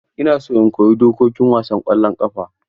Ina so in koyi dokokin wasan ƙwallon ƙafa.